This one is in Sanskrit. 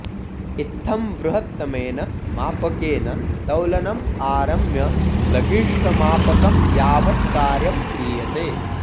इत्थं वृहत्तमेन मापकेन तौलनं आरम्य लघिष्ठ्मापकं यावत् कार्यं क्रियते